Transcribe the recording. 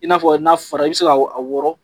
I n'a fɔ n'a fɔra i bi se ka wɔrɔn